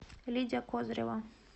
лидия козырева